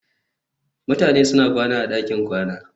Mutane suna kwana a ɗakin kwana